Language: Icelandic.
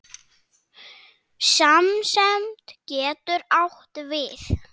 Samsemd getur átt við